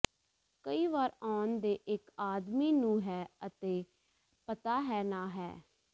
ਕਈ ਵਾਰ ਆਉਣ ਦੇ ਇੱਕ ਆਦਮੀ ਨੂੰ ਹੈ ਅਤੇ ਪਤਾ ਹੈ ਨਾ ਹੈ